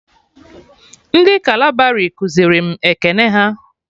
Ndị kalabari kuziri m ekene ha